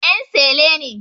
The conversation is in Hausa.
En sele ne